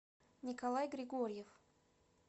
николай григорьев